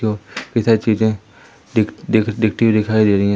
जो इधर चीजें दिख दिख दिखती दिखाई दे रही है।